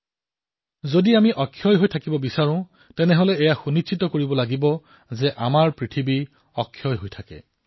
যদি আমি অক্ষয় হৈ থাকিবলৈ বিচাৰো তেন্তে আমাৰ ধৰিত্ৰীও অক্ষয় হৈ থকাটো নিশ্চিত কৰিব লাগিব